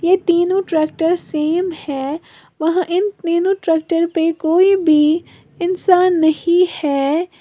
ये तीनों tractor same है वहां इन तीनों ट्रैक्टर पर कोई भी इंसान नहीं है।